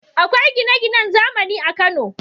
Akwai gine-ginan zamani a Kano.